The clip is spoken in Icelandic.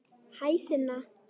Hæ, Sunna.